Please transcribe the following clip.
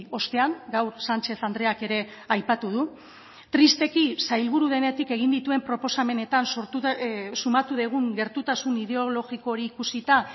ostean gaur sánchez andreak ere aipatu du tristeki sailburu denetik egin dituen proposamenetan sumatu dugun gertutasun ideologiko hori ikusita